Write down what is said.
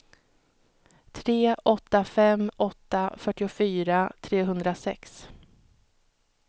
tre åtta fem åtta fyrtiofyra trehundrasex